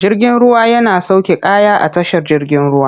Jirgin ruwa yana sauke kaya a tashar jigin ruwa.